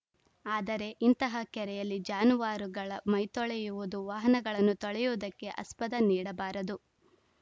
ಆದರೆ ಇಂತಹ ಕೆರೆಯಲ್ಲಿ ಜಾನುವಾರುಗಳ ಮೈತೊಳೆಯುವುದು ವಾಹನಗಳನ್ನು ತೊಳೆಯುವುದಕ್ಕೆ ಅಸ್ಪದ ನೀಡಬಾರದು